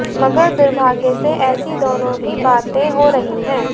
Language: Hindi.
मगर दुर्भाग्य से ऐसी दोनों ही बातें हो रही हंै